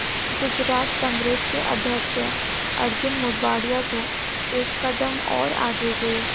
गुजरात कांग्रेस के अध्यक्ष अर्जुन मोढवाडिया तो एक कदम और आगे गए